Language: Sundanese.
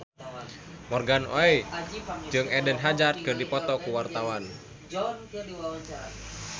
Morgan Oey jeung Eden Hazard keur dipoto ku wartawan